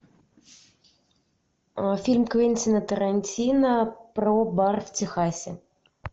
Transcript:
фильм квентина тарантино про бар в техасе